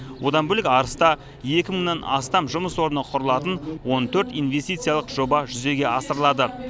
одан бөлек арыста екі мыңнан астам жұмыс орны құрылатын он төрт инвестициялық жоба жүзеге асырылады